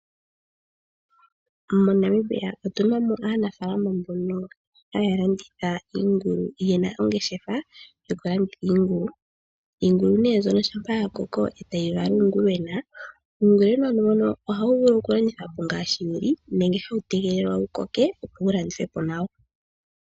MoNamibia Otuna aanafaalama mbono haya landitha iingulu ye na ongeshefa yokulanditha iingulu. Iingulu nee mbyono shampa yakoko e tayi vala uungulwena ,uungulwena mbono oha wu vulu okulandithilwapo ngaaashi wuli nenge hawu tegelelwa wu koke opo wu landithwepo nawa.